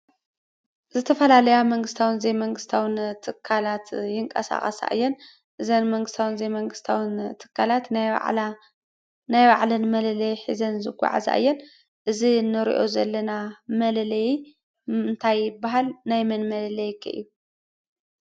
ዝተፈላለያ መንግስታውን ዘይመንግስታውን ትካላት ይቀሳቀሳ እየን እዘን መንግስታዊን ዘይመንግስታዊን ትካላት ናይ ባዕለን መለለይ ሒዘን ዝጓዓዛ እየን ። እዚ ንሪኦ ዘለና መለለይ እንታይ ይበሃል? ናይመን መለለይ ከ እዩ?